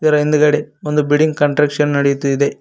ಇದರ ಹಿಂದ್ಗಡೆ ಒಂದು ಬಿಲ್ಡಿಂಗ್ ಕಾಂಟ್ರಕ್ಷನ್ ನಡೆಯುತ್ತಿದೆ.